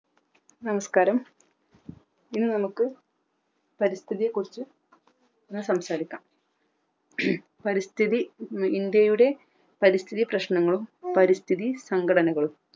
നമസ്ക്കാരം ഇന്ന് നമുക്ക് പരിസ്ഥിതിയെക്കുറിച് സംസാരിക്കാം പരിസ്ഥിതി ഇന്ത്യയുടെ പരിസ്ഥിതി പ്രശ്നങ്ങളും പരിസ്ഥിതി സംഘടനകളും